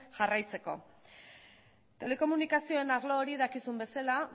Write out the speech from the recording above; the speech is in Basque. jarraitzeko telekomunikazioen arlo hori dakizuen bezala